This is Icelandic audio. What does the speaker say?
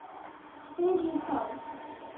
spyr ég þá.